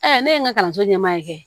ne ye n ka kalanso ɲɛmaa kɛ